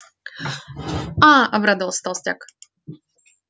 а обрадовался толстяк